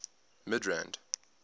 midrand